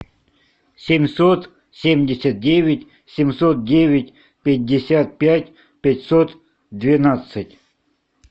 семьсот семьдесят девять семьсот девять пятьдесят пять пятьсот двенадцать